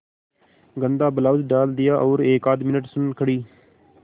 गंदा ब्लाउज डाल दिया और एकआध मिनट सुन्न खड़ी